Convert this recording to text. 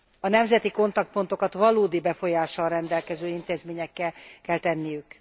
A nemzeti kapcsolattartó pontokat valódi befolyással rendelkező intézményekké kell tenniük.